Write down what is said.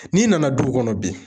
N'i nana duw kɔnɔ bi